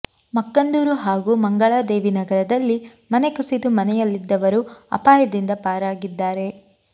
ಮಕ್ಕಂದೂರು ಹಾಗೂ ಮಂಗಳಾದೇವಿ ನಗರದಲ್ಲಿ ಮನೆ ಕುಸಿದು ಮನೆಯಲ್ಲಿದ್ದವರು ಅಪಾಯದಿಂದ ಪಾರಾಗಿದ್ದಾರೆ